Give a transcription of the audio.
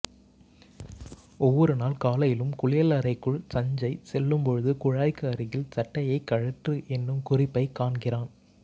ஒவ்வொரு நாள் காலையிலும் குளியலறைக்குள் சஞ்சய் செல்லும் போது குழாய்க்கு அருகில் சட்டையைக் கழற்று என்னும் குறிப்பைக் காண்கிறான்